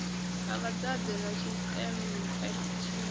ha vhadzadze na tshiṱempe tshine